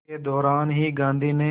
के दौरान ही गांधी ने